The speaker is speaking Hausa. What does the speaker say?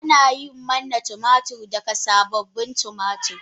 Ana yin manna tumatir daga sabobin tumatir.